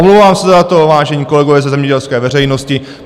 Omlouvám se za to, vážení kolegové ze zemědělské veřejnosti.